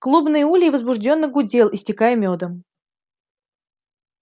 клубный улей возбуждённо гудел истекал мёдом